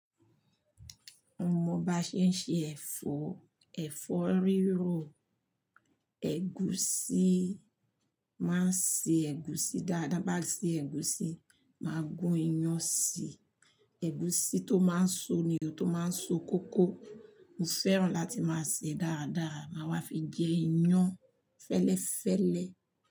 Mo mọ ba ṣé ń ṣe ẹ̀fọ́, ẹ̀fọ́ rírò. Ẹ̀gúsí máa ń ṣe ẹ̀gúsí dáadáa, bá ti ṣe ẹ̀gúsí, máa gún iyán sí i. Ẹ̀gúsí tó máa ń so nì o tó máa ń so kókó. Mo fẹ́ràn láti máa sè é dáadáa, màá wá fi jẹ iyán fẹ́lẹ́fẹ́lẹ́.